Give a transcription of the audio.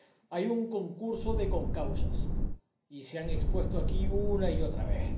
Hay un concurso de concausas y se han expuesto aquí una y otra vez.